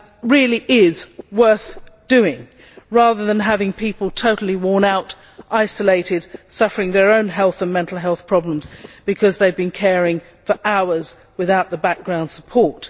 really is worth doing, rather than having people totally worn out, isolated and suffering their own health and mental health problems because they have been caring for hours without background support.